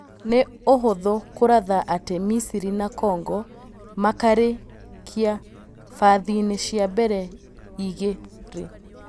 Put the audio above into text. Nĩ ũhũthũ kũratha atĩ Misiri na Kongo makarĩ kia bathiinĩ cia mbere igĩ rĩ .